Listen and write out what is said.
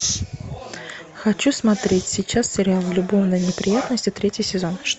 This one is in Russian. хочу смотреть сейчас сериал любовные неприятности третий сезон